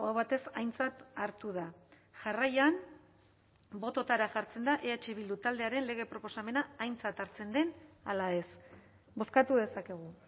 batez aintzat hartu da jarraian bototara jartzen da eh bildu taldearen lege proposamena aintzat hartzen den ala ez bozkatu dezakegu